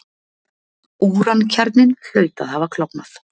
Úrankjarninn hlaut að hafa klofnað.